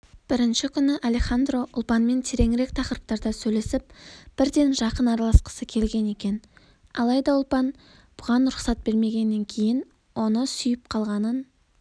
бірінші күні алехандро ұлпанмен тереңірек тақырыптарда сөйлесіп бірден жақын араласқысы келген екен алайда ұлпан бұған рұқсат бермеген кейін оны сүйіп қалғанын